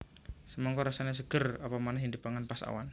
Semangka rasané seger apa manéh yèn dipangan pas awan